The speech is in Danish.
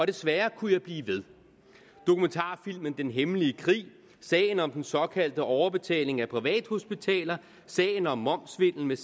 desværre kunne jeg blive ved dokumentarfilmen den hemmelige krig sagen om den såkaldte overbetaling af privathospitaler sagen om momssvindel